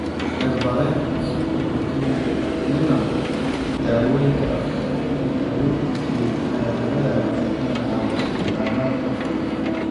Cirbadeynta sunta botulinum, daawooyinka afka, iyo daaweynta jireed ayaa laga yaabaa inay caawiso bukaanada qaarkood.